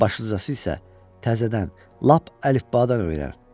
Başlıcası isə təzədən lap əlifbadan öyrən.